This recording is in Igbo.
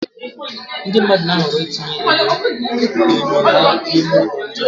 Ndị mmadụ na-ahọrọ itinye enyo ha n'ime ụlọ ndina